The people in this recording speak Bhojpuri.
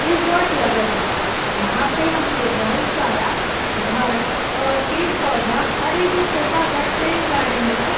रिसोर्ट लगत बा। यहाँ पे हमके बहुत सारा घर और पेड़ पौधा और एगो छोटा सा ट्रेन गाड़ी नियर --